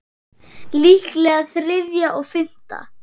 Líklega þriðja og fimmta